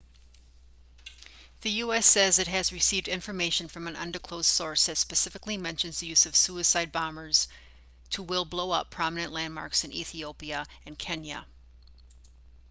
the u.s. says it has received information from an undisclosed source that specifically mentions the use of suicide bombers to will blow up prominent landmarks in ethiopia and kenya